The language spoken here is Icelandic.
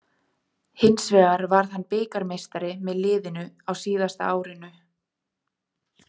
Hins vegar varð hann bikarmeistari með liðinu á síðasta árinu.